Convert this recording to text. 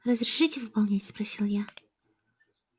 разрешите выполнять спросил я